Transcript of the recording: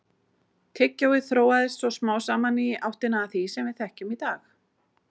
Tyggjóið þróaðist svo smám saman í áttina að því sem við þekkjum í dag.